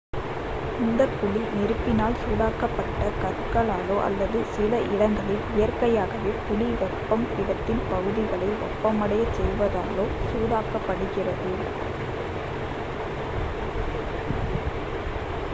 இந்தக் குழி நெருப்பினால் சூடாக்கப்பட்ட கற்களாலோ அல்லது சில இடங்களில் இயற்கையாகவே புவி வெப்பம் இடத்தின் பகுதிகளை வெப்பமடையச் செய்வதாலோ சூடாக்கப்படுகிறது